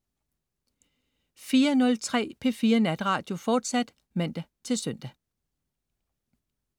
04.03 P4 Natradio, fortsat (man-søn)